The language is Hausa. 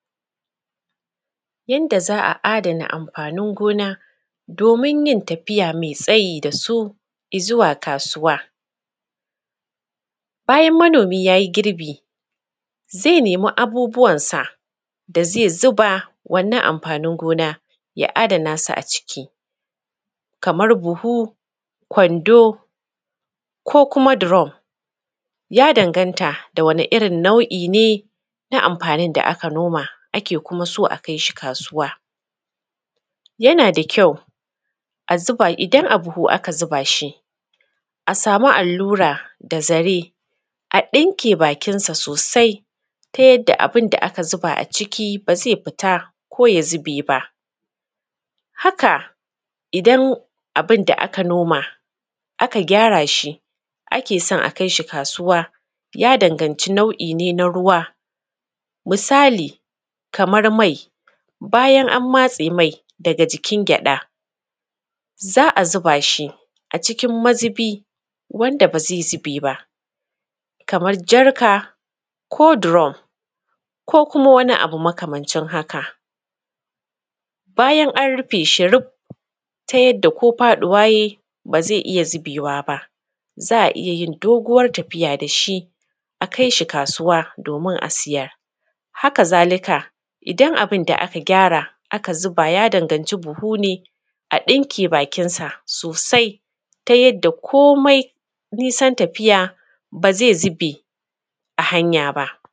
Yanda za a adana amfanin gona domin yin tafiya mai tsayi da su izuwa kasuwa. Bayan manomi yayi girbi zai nemi abubuwansa da zai zuba wannan amfanin gona a adana su a ciki kaman buhu, kwando, ko kuma drum ya danganta da wane irin nau'i ne na amfanin da aka noma, ake kuma so a kai shi kasuwa. Yana da kyau a zuba idan a buhu aka zuba shi a samu allura da zare a ɗinke bakin sa sosai ta yadda abun da aka zuba a ciki ba zai fita ko ya zube ba. haka idan abunda aka noma aka gyara shi ake son a kai shi kasuwa ya danganci nau'i ne na ruwa misali kaman mai, bayan an matse mai daga jikin gyada za a zuba shi a cikin mazubi wanda ba zai zube ba kamar jarka ko drum ko uma wani abu makamancin haka. Bayan an rufe shi ruf ta yanda ko faɗuwa yayi ba zai iya zubewa ba, za a iya yin doguwar tafiya da shi a kai shi kasuwa domin a siyar. Haka zalika idan abun da aka gyara aka zuba ya danganci buhu ne, a ɗinke bakinsa sosai ta yadda komai nisan tafiya ba zai zube a hanya ba.